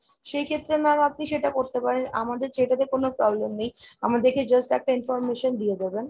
সেইক্ষেত্রে m,a'am আপনি সেটা করতে পারেন। আমাদের সেটাতে কোনো problem নেই, আমাদেরকে just একটা information দিয়ে দেবেন।